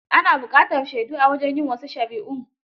Ana buƙatar shaidu a wajen yin wasu shari'un.